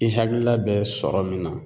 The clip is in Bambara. I hakiila bɛ sɔrɔ min na